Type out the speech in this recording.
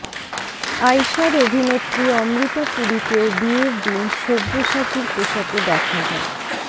আইশার অভিনেত্রী অমৃতা পুরীকেও বিয়ের দিন সব্যসাচীর পোশাকে দেখা যায়